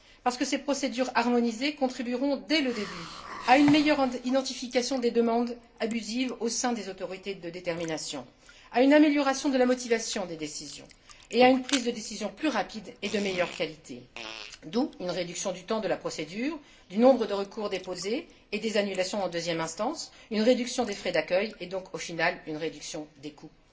Parce que ces procédures harmonisées contribueront dès le début à une meilleure identification des demandes abusives au sein des autorités de détermination, à une amélioration de la motivation des décisions et à une prise de décision plus rapide et de meilleure qualité, d'où une réduction du temps de la procédure, du nombre de recours déposés et des annulations en deuxième instance, une réduction des frais d'accueil et donc, au final, une réduction des coûts.